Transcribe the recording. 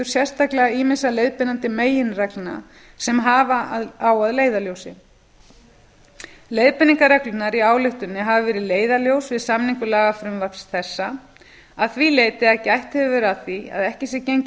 sérstaklega ýmissa leiðbeinandi meginreglna sem hafa á að leiðarljósi leiðbeiningarreglurnar í ályktuninni hafa verið leiðarljós við samningu lagafrumvarps þessa að því leyti að gætt hefur verið að því að ekki sé gengið